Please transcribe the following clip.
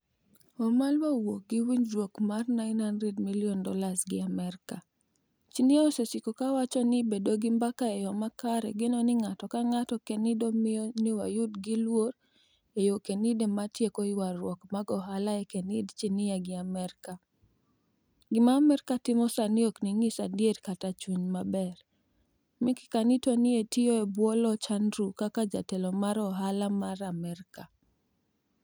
Wamalwa owuok gi winijruok mar $900m gi Amerka 'Chinia osesiko ka wacho nii bedo gi mbaka e yo makare, geno nig'ato ka nig'ato kenido miyo niyawadgi luor e yo kenide mar tieko ywaruok mag ohala e kinid Chinia gi Amerka. Gima Amerka timo sanii ok niyis adiera kata chuniy maber' Mickey Kanitor ni e otiyo e bwo loch Anidrew kaka jatelo mar ohala mar Amerka.